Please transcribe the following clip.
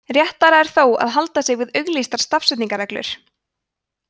réttara er þó að halda sig við auglýstar stafsetningarreglur